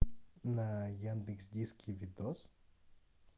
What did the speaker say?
на яндекс диске видео